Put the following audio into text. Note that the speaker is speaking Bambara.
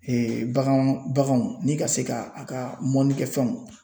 bagan baganw baganw ni ka se ka a ka mɔnnikɛfɛnw.